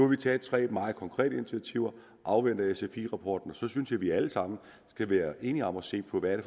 vi taget tre meget konkrete initiativer vi afventer sfi rapporten og så synes jeg vi alle sammen skal være enige om at se på hvad det